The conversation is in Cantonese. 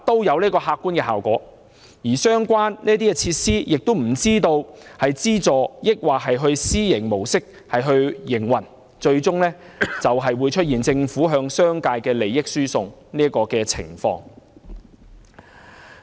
而這些設施又不知道是以資助還是私營模式營運，最終會出現政府向商界輸送利益的情況。